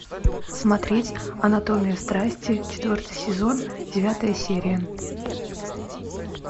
смотреть анатомия страсти четвертый сезон девятая серия